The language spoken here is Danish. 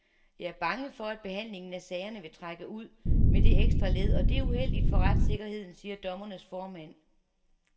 Jeg er bange for, at behandlingen af sagerne vil trække ud med det ekstra led, og det er uheldigt for retssikkerheden, siger dommernes formand.